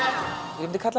ég myndi kalla